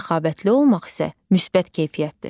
Səxavətli olmaq isə müsbət keyfiyyətdir.